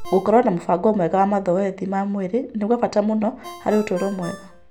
Gũkorũo na mũbango mwega wa mazoezi ma mwĩrĩ nĩ kwa bata mũno harĩ ũtũũro mwega.